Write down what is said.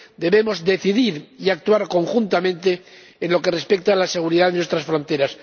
Debemos decidir y actuar conjuntamente en lo que respecta a la seguridad nuestras fronteras.